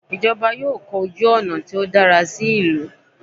ìjọba yóò kọ ojú ònà tí dára sí ìlú